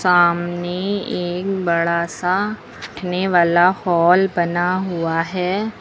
सामने एक बड़ा सा बैठने वाला हॉल बना हुआ है।